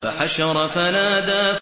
فَحَشَرَ فَنَادَىٰ